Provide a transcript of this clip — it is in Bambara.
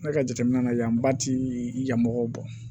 Ne ka jateminɛ la yan ba ti yan mɔgɔw bɔ